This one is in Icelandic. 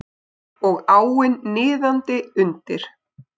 Og áin niðandi undir.